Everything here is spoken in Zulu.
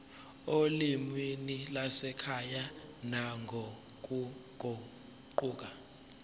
olimini lwasekhaya nangokuguquka